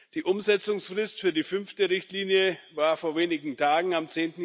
Die Umsetzungsfrist für die fünfte Richtlinie war vor wenigen Tagen, am